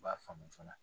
U b'a faamu joona